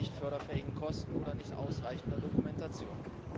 bei nicht förderfähigen Kosten oder nicht ausreichender Dokumentation.